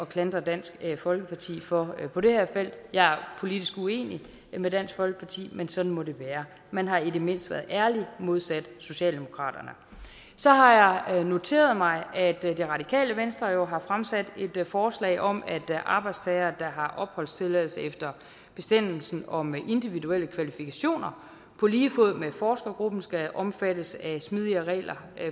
klandre dansk folkeparti for på det her felt jeg er politisk uenig med dansk folkeparti men sådan må det være man har i det mindste været ærlig modsat socialdemokratiet så har jeg noteret mig at radikale venstre jo har fremsat et forslag om at arbejdstagere der har opholdstilladelse efter bestemmelsen om individuelle kvalifikationer på lige fod med forskergruppen skal omfattes af smidigere regler